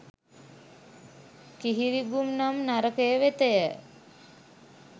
කිහිරිඟුරු නම් නරකය වෙතය.